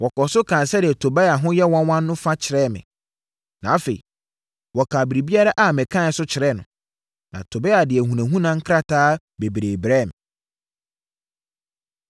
Wɔkɔɔ so kaa sɛdeɛ Tobia ho yɛ nwanwa fa no kyerɛɛ me, na afei, wɔkaa biribiara a mekaeɛ nso kyerɛɛ no. Na Tobia de ahunahuna nkrataa bebree brɛɛ me.